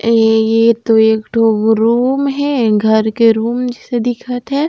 ऐ ये तो एक ठो वो रूम ए घर के रूम जैसे दिखत हे।